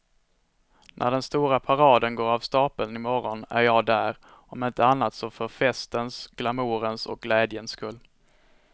När den stora paraden går av stapeln i morgon är jag där, om inte annat så för festens och glamourens och glädjens skull.